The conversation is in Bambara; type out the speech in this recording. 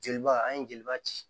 Jeliba an ye jeliba ci